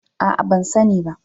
A'a, ban sani ba